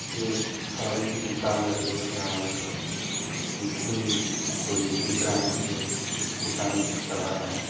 एक साड़ी की दुकान लग रही है जहा एक मुस्लिम कोई दिख रहे हैं जो इस दुकान को चला रहे हैं।